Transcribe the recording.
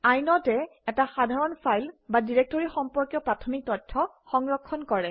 Inode এ এটা সাধাৰণ ফাইল বা ডিৰেক্টৰী সম্পৰ্কীয় প্ৰাথমিক তথ্য সংৰক্ষণ কৰে